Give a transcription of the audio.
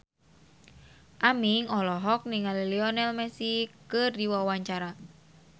Aming olohok ningali Lionel Messi keur diwawancara